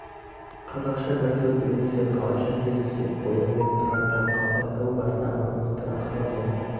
қазақша бір сөз білмейсің қалайша тез түсініп қойдың деп тұрар таң қалды әу бастағы үміті ақталмады